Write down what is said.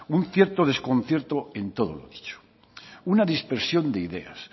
un cierto desconcierto en todo lo dicho una dispersión de ideas